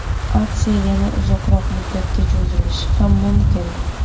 Aksiya yana uzoqroq muddatga cho‘zilishi ham mumkin.